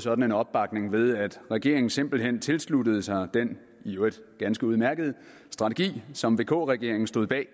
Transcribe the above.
sådan opbakning ved at regeringen simpelt hen tilsluttede sig den i øvrigt ganske udmærkede strategi som vk regeringen stod bag